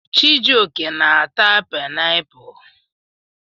Chijioke na-ata painiapulu.